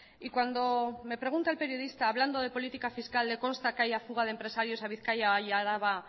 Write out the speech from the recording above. y cuando me pregunta el periodista hablando de política fiscal le consta que haya fuga de empresarios a bizkaia y a araba